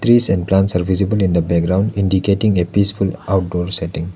Trees and plants are visible in the background indicating a peaceful outdoor setting.